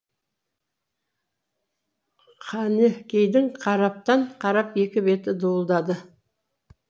қайныкейдің қараптан қарап екі беті дуылдады